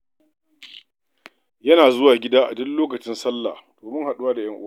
Yana zuwa gida a duk lokacin sallah domin haɗuwa da 'yan uwa.